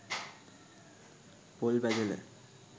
පොල් බැදල